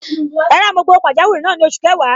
Rárá, mo gba owó pajawiri náà ni oṣù kẹwàá.